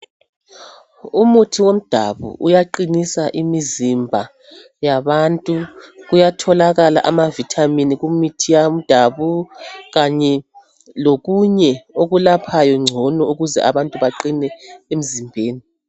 Umuthi womdabu uyaqinisa imizimba yabantu. Kuyatholakala amavithamini kumithi yomdabu kanye lokunye okulaphayo ngcono ukuze abantu baqine emzimbeni.